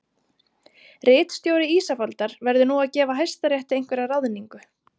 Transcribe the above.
Ritstjóri Ísafoldar verður nú að gefa hæstarétti einhverja ráðningu